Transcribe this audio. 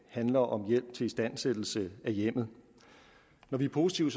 handler om hjælp til istandsættelse af hjemmet og når vi er positive